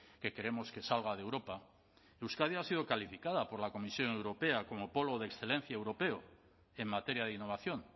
que queremos que salga de europa euskadi ha sido calificada por la comisión europea como polo de excelencia europeo en materia de innovación